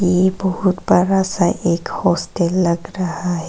ये बहुत बड़ा सा एक हॉस्टल लग रहा है।